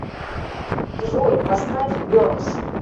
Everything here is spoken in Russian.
джой поставь бернс